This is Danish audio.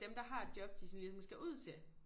Dem der har et job de sådan ligesom skal ud til